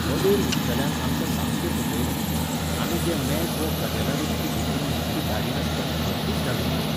मदेर विकतल्यान आमकां सामकें फटयलें. आमी जें मेज वो कदेलां विकती घेतिल्लीं तीं धाडिनासताना भलतींच धाडून दिल्लीं